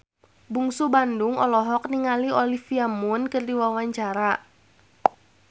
Bungsu Bandung olohok ningali Olivia Munn keur diwawancara